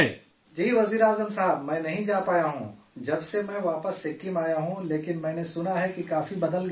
جی وزیر اعظم صاحب میں جا نہیں پایا ہوں جب سے میں واپس سکم آیا ہوں، لیکن میں نے سنا ہے کہ کافی بدل گیا ہے